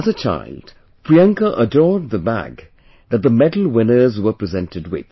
As a child, Priyanka adored the bag that the medal winners were presented with